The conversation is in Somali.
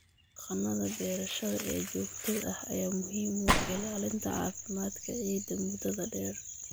Dhaqannada beerashada ee joogtada ah ayaa muhiim u ah ilaalinta caafimaadka ciidda muddada dheer.